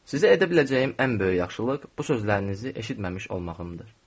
Sizə edə biləcəyim ən böyük yaxşılıq bu sözlərinizi eşitməmiş olmağımdır.